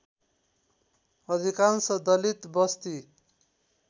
अधिकांश दलित वस्ती